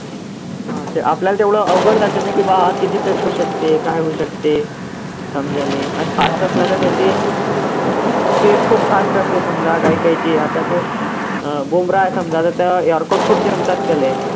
अं आपल्याला तेवढं अवघड जातं नं की बा किती तर होऊ शकते, काय होऊ शकते, समजायले अन fast असला तर त्याचे speed खूप fast असते समजा काही काहीची आता तर अं समजा आता तर yorker खूप जमतात त्याले